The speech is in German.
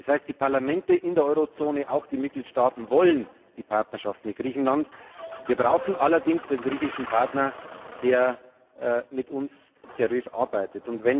Das heißt, die Parlamente in der Eurozone, auch die Mitgliedstaaten, wollen die Partnerschaft mit Griechenland. Wir brauchen allerdings einen griechischen Partner, der mit uns seriös arbeitet.